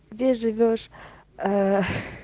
где живёшь ээ